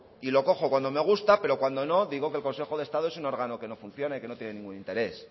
y lo cojo cuando me gusta pero cuando no digo que el consejo de estado es un órgano que no funciona y que no tiene ningún interés